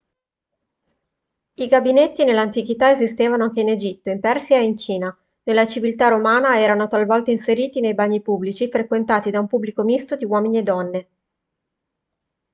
i gabinetti nell'antichità esistevano anche in egitto in persia e in cina nella civiltà romana erano talvolta inseriti nei bagni pubblici frequentati da un pubblico misto di uomini e donne